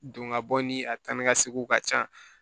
Don ka bɔ ni a ta ni ka seginw ka ca